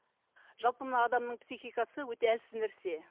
жалпы мына адамның психикасы өте әлсіз нәрсе